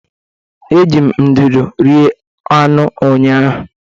Eji m ndụdụ rie anụ ụnyahụ.